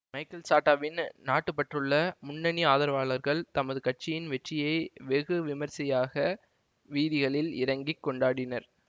Michael சாட்டாவின் நாட்டுப்பற்றுள்ள முன்னணி ஆதரவாளர்கள் தமது கட்சியின் வெற்றியை வெகு விமரிசையாக வீதிகளில் இறங்கி கொண்டாடினர்